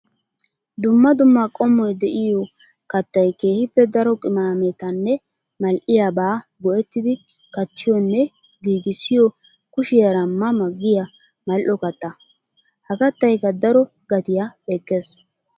Dumma dumma qommoy de'iyo kattay keehippe daro qimaammettanne mal'ettiyabba go'ettidi kattiyonne giigissiyo kushiyaara ma ma giya mali'o katta. Ha kattaykka daro gatiya ekees.